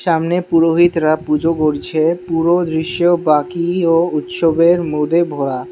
সামনে পুরোহিতরা পুজো করছে পুরো দৃশ্য বাকি ও উৎসবে ভরা।